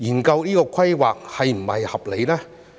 究竟這種規劃是否合理？